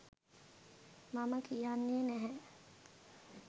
මම කියන්නේ නැහැ.